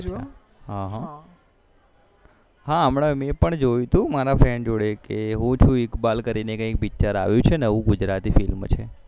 હા હા હા અમના મેં પણ જોયું હતું મારા friend જોડે કે એવું કે ઇકબાલ કરીને કઈ picture આવ્યું છે નવું ગુજરાતી